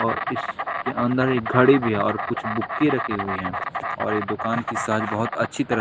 और इसके अंदर एक घड़ी भी है और कुछ बुक्की रखी हुई हैं और ये दुकान की सहज बहुत अच्छी तरह।